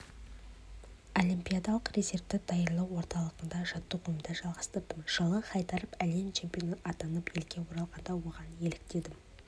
олимпиадалық резервті даярлау орталығында жаттығуымды жалғастырдым жылы хайдаров әлем чемпионы атанып елге оралғанда оған еліктегенім